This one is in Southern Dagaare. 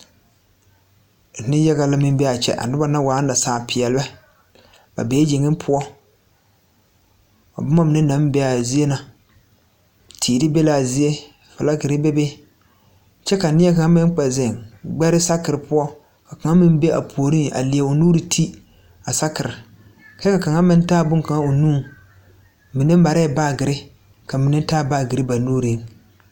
Neŋyaga la meŋ bee aa kyɛ a noba na naŋ bee aa waa nasaa peɛlbɛ ba bee yeŋe poɔ a bomma mine naŋ bee aa zie na teere be laa zie flakerre bebe kyɛ ka nie kaŋ meŋ kpɛ zeŋ gbɛre sakire poɔ ka kaŋ meŋ be a puoriŋ a lie o nuure te a sakire kyɛ ka kaŋa meŋ taa bonkaŋa o nuŋ mine mareɛɛ baagirre ka mine taa baagyirre ba nuure.